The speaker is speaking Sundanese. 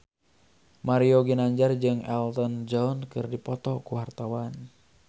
Mario Ginanjar jeung Elton John keur dipoto ku wartawan